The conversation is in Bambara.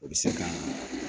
O bi se ka